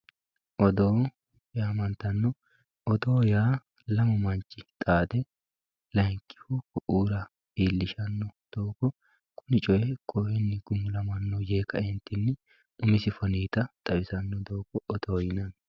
odoo yaamantanno odoo yaa lamu manchi xaade ku'u ku'ira kuni coye kowewo gumulamanno yee ka'e umisi foniita xawisannota odoo yinanni